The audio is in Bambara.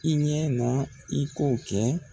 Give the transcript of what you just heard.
I ɲɛ na i k'o kɛ.